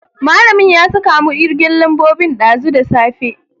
Malamin ya saka mu kirgen lambobi dazu da safe.